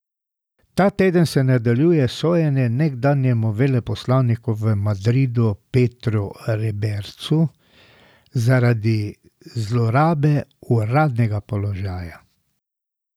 Ta teden se nadaljuje sojenje nekdanjemu veleposlaniku v Madridu Petru Rebercu zaradi zlorabe uradnega položaja.